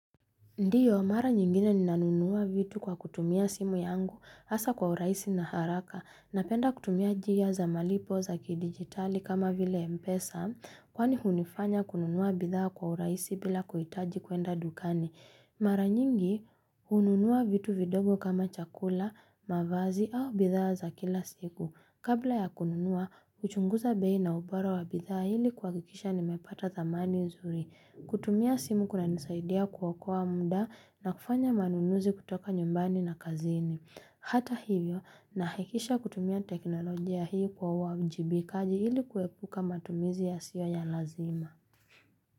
Ndio, mara nyingine ninanunua vitu kwa kutumia simu yangu, hasa kwa urahisi na haraka, napenda kutumia njia za malipo za kidigitali kama vile mpesa, kwani hunifanya kununua bidhaa kwa urahisi bila kuhitaji kuenda dukani. Mara nyingi, hununua vitu vidogo kama chakula, mavazi au bidhaa za kila siku. Kabla ya kununua, huchunguza bei na ubora wa bidhaa ili kuhakikisha nimepata thamani nzuri kutumia simu kunanisaidia kuokoa muda, na kufanya manunuzi kutoka nyumbani na kazini Hata hivyo, nahakikisha kutumia teknolojia hii kwa uwa uajibikaji, ili kuepuka matumizi yasio ya lazima.